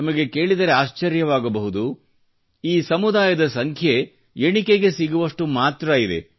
ತಮಗೆ ಕೇಳಿದರೆ ಆಶ್ಚರ್ಯವಾಗಬಹುದು ಈ ಸಮುದಾಯದ ಸಂಖ್ಯೆ ಎಣಿಕೆಗೆ ಸಿಗುವಷ್ಟು ಮಾತ್ರ ಇದೆ